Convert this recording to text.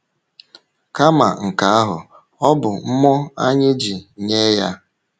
Kama nke ahụ, ọ bụ mmụọ anyị ji nye ya.